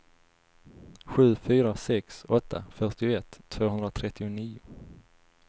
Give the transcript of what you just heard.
sju fyra sex åtta fyrtioett tvåhundratrettionio